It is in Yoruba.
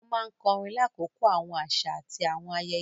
Wọn máa nkorin lakoko awọn aṣa ati awọn ayẹyẹ.